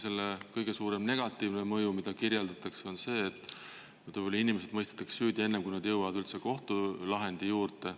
Selle kõige suurem negatiivne mõju, mida kirjeldatakse, on see, et võib-olla inimesed mõistetakse süüdi enne, kui nad jõuavad üldse kohtulahendi juurde.